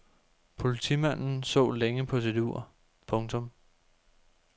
Politimanden så længe på sit ur. punktum